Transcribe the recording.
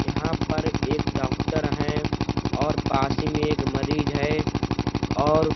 यहाँ पर एक डॉक्टर हैं और पास ही में एक मरीज है और --